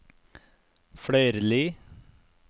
Fløyrli